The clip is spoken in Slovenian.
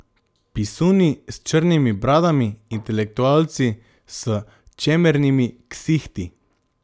Pisuni s črnimi bradami, intelektualci s čemernimi ksihti.